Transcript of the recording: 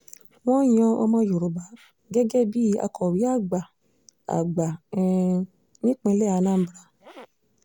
wọ́n yan ọmọ yorùbá gẹ́gẹ́ bíi akọ̀wé àgbà àgbà um nípìnlẹ̀ anambra